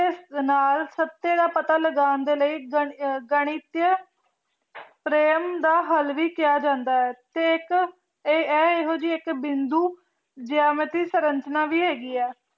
ਦੇ ਨਾਲ ਸਕਤੀ ਦਾ ਪਤਾ ਲਗਾਨ ਦੇ ਲੈ ਗਣਿਤ ਚ ਪ੍ਰੇਮ ਦਾ ਹਾਲ ਵੀ ਕਹਯ ਜਾਂਦਾ ਆਯ ਤੇ ਏਇਕ ਆਯ ਏਹੋ ਜੈ ਏਇਕ ਬਿੰਦੁ ਜਮਤੀ ਸਰੰਚਨਾ ਵੀ ਹੇਗੀ ਆਯ